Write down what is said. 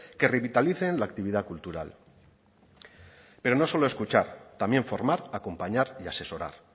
que revitalicen la actividad cultural pero no solo escuchar también formar acompañar y asesorar